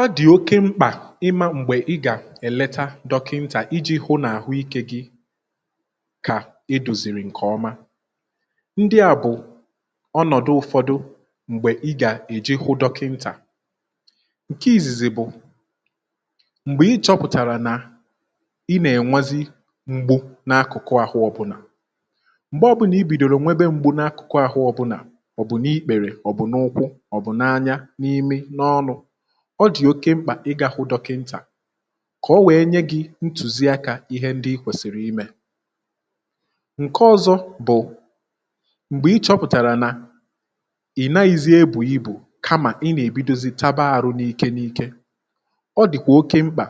ọ dị̀ oke mkpà ịma m̀gbè ị gà-èleta dọkịntà iji hụ n’àhụ ikė gị kà edozìrì ǹkè ọma ndị à bụ̀ ọnọ̀dụ ụfọdụ m̀gbè ị gà-èji hụ dọkịntà, ǹke ìzìzì bụ̀ m̀gbè ị chọpụ̀tàrà nà ị nà-ènwezị m̀gbu n’akụ̀kụ àhụ ọbụ̀la, mgbe obula i bìdòrò nwebe m̀gbu n’akụ̀kụ àhụ ọ bụ̀la maobụ̀ n’ikpèrè, ọ̀ bụ̀ n’ụkwụ̇ n’imi n’ọnụ̇ ọ dị̀ oke mkpà ịgȧ hụ dọkịntà kà o wèe nye gị̇ ntùzi akȧ ihe ndị i kwèsìrì imė ǹke ọ̇zọ̇ bụ̀, m̀gbè ịchọ̇pụ̀tàrà nà ị̀ naghị̇zi ebù ibù kamà ị nà-èbidozi taba ȧrụ̇ n’ike n’ike ọ dị̀kwà oke mkpà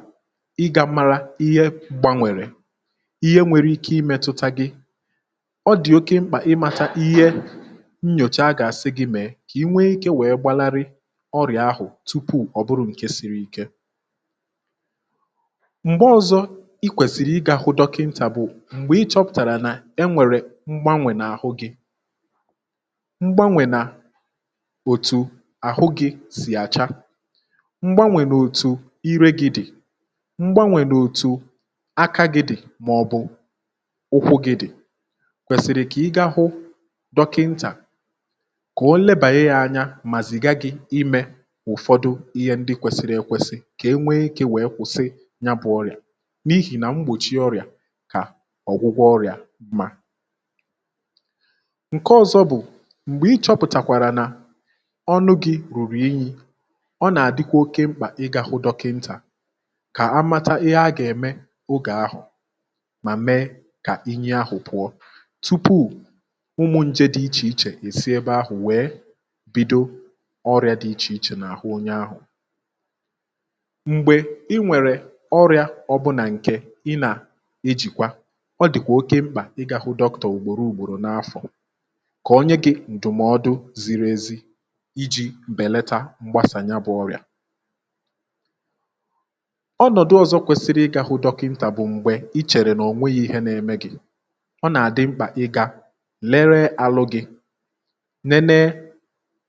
ịgȧ mara ihe gbànwèrè ihe nwere ike imėtuta gị ọ dị̀ oke mkpà ịmata ihe nnyòchaa gà-àsị gị̇ mèe kà i nwee ike wèe gbalarị ọrịà ahụ̀ tupuù ọ bụrụ̀ nke siri ike m̀gbe ọ̇zọ̇ i kwèsìrì ị gà-àhụ dọkịntà bụ̀ m̀gbè ị chọ̇pụ̀tàrà nà e nwèrè mgbanwè n’àhụ gị mgbanwè n’òtù àhụ gị̇ sì àcha mgbanwè n’òtù irė gị dị̀ mgbanwè n’òtù aka gị dị̀ mà ọ̀ bụ ụkwụ̇ gị dị̀ kwèsìrì kà ị gaa hụ̇ dọkịntà kà o lebàghe ya anya mà zìgà gị̇ ime ụfọdụ ihe ndị kwesịrị ekwesị ka enwee ike wee kwụsị ya bu ọrịa n'ihi na mgbochi ọrịa ka ọgwụgwọ ọrịa mma, ǹke ọzọ bụ̀ m̀gbè ichọ̇pụ̀tàkwàrà nà ọnụ gị̇ rùrù unyi̇ ọ nà-àdịkwa oke mkpà ị gȧ hụ dọkịntà kà a mata ihe a gà-ème ogè ahụ̀ mà mee kà unyi ahụ̀ pụ̀ọ tupu ụmụ̀ njė dị ichè ichè esi ebe ahụ̀ wee bido ọrịȧ dị iche ichè na ahụ onye ahụ, mgbe ịnwere orịà obula nke i na-ejikwa, ọ dịkwa oke mkpà ị gȧ hụ dọkịntà ugboro ugboro na afo ka onye gi ndụmọdụ ziri ezi iji belata mgbasa ya bu ọrịa, onodu ọzọ kwesịrị ịga hụ dokinta bu m̀gbè ị chere na onweghi ihe na eme gị ,ọna adị mkpa ịga lere arụ gị, lelee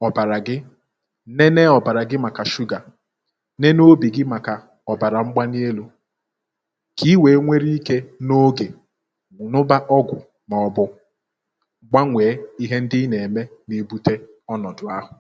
ọbara gị, lelee obara gị maka shuga ,lelee obi gị maka ọbara mgbali elu ka inwe were ike n'oge ñuba ọgwụ maọbu gbanwee ihe ndị ina eme na ebute ọnọdụ ahụ